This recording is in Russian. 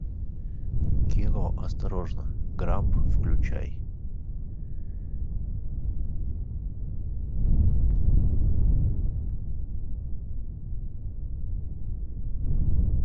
кино осторожно грамп включай